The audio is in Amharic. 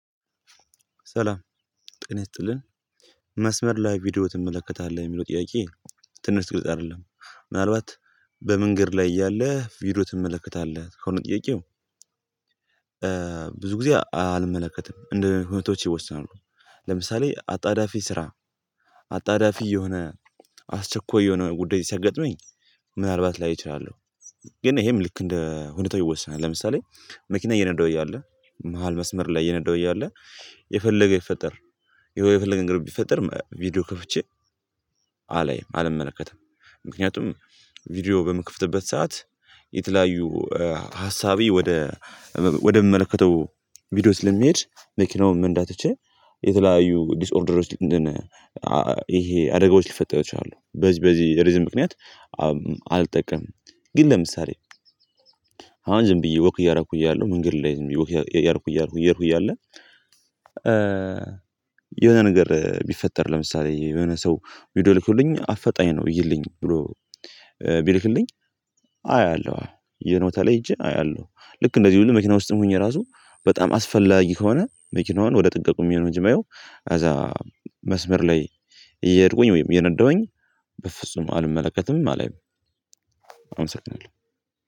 ሰላም ጤና ይስጥልን መስመር ላይ ቪዲዮ ትመለከታለህ የሚለው ጥያቄ? ትንሽ ግልጽ አይደለም ምናልባት በመንገድ ላይ እያለህ ቪዲዮ ትመለከታለህ ከሆነ ጥያቄው። ብዙ ጊዜ አልመለከትም እንደ ሁኔታዎች ይወሰናሉ። ለምሳሌ አጣዳፊ ስራ አጣዳፊ የሆነ አስቸኳይ የሆነ ጉዳይ ሲያገጥመኝ ምናልባት ላይ እችላለሁ። ግን ይሄም ልክ እንደ ሁኔታው ይወስናል ለምሳሌ መኪና እየነዳሁ እያለ መሃል መስመር ላይ እየነዳሁ እያለ የፈለገ ብፈጠር የሆነ የፈለገ ነገር ቢፈጠር ቪዲዮ ከፍቼ አላይም አልመለከትም። ምክንያቱም ቪዲዮ በምከፍትበት ሰዓት የተለያዩ ሀሳቤ ወደ ወደምመለከተው ቪዲዮ ስለሚሄድ መኪናውን መንዳት ትቼ የተለያዩ ዲስኦርደሮች እንትን ይሄ አደጋዎች ሊፈጠሩ ይችላሉ በዚህ በዚህ ሪዝን ምክንያት አልጠቀምም። ግን ለምሳሌ አሁን ዝም ብዬ ወክ እያረኩ እያለሁ መንገድ ላይ ዝም ብዬ እያረኩ እያረኩ እያለ የሆነ ነገር ቢፈጠር ለምሳሌ የሆነ ሰው ቪዲዮ ልኮልኝ አፈጣኝ ነው እይልኝ ብሎ ቢልክልኝ አያለሁ። የሆነ ቦታ ላይ ሄጄ አያለሁ ልክ እንደዚህው ሁሉ መኪና ውስጥም ሆኜ ራሱ በጣም አስፈላጊ ከሆነ መኪናዋን ወደ ጥግ አቁሜ ነው እንጂ የማየው። አዛ መስመር ላይ እየሄድኩኝ ወይም እየነዳሁኝ በፍጹም አልመለከትም አላይም። አመሰግናለሁ